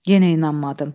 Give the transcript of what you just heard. Yenə inanmadım.